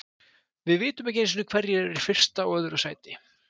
Við vitum ekki einu sinni hverjir eru í fyrsta og öðru sæti.